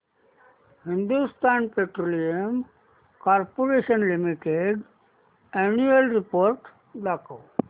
Hindustan petroleum corporation limited annual report दाखव